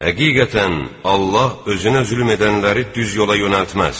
Həqiqətən, Allah özünə zülm edənləri düz yola yönəltməz.